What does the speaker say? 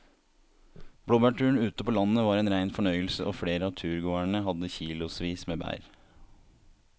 Blåbærturen ute på landet var en rein fornøyelse og flere av turgåerene hadde kilosvis med bær.